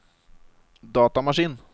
datamaskin